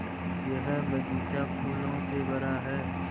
यह बग़ीचा फूलों से भरा है